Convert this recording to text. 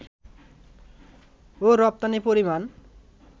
ও রপ্তানির পরিমাণ